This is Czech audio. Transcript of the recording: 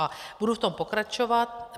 A budu v tom pokračovat.